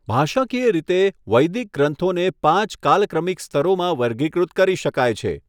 ભાષાકીય રીતે, વૈદિક ગ્રંથોને પાંચ કાલક્રમિક સ્તરોમાં વર્ગીકૃત કરી શકાય છે.